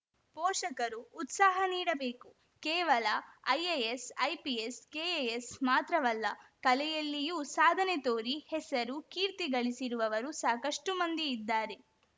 ಪೋಷಕರು ಉತ್ಸಾಹ ನೀಡಬೇಕು ಕೇವಲ ಐಎಎಸ್‌ ಐಪಿಎಸ್‌ ಕೆಎಎಸ್‌ ಮಾತ್ರವಲ್ಲ ಕಲೆಯಲ್ಲಿಯೂ ಸಾಧನೆ ತೋರಿ ಹೆಸರು ಕೀರ್ತಿ ಗಳಿಸಿರುವವರು ಸಾಕಷ್ಟುಮಂದಿ ಇದ್ದಾರೆ